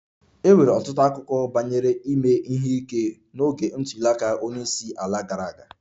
E nwere ọtụtụ akụkọ banyere ime ihe ike n'oge ntuli aka onye isi ala gara aga